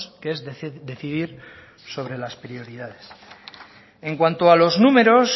que es decidir sobre las prioridades en cuanto a los números